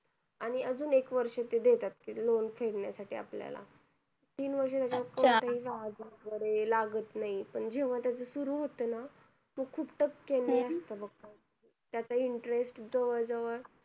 आणि अजून एक वर्ष ते देतात ते loan फेडण्यासाठी आपल्याला. तीन वर्ष लागत नाही. पण जेव्हा त्याचं सुरु होतं ना तो खूप टक्क्यांनी असतं बघ. त्याचं interest जवळजवळ